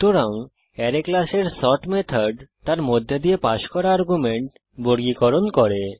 সুতরাং অ্যারে ক্লাসের sort method তার মধ্যে দিয়ে পাস করা এলিমেন্ট বর্গীকরণ করে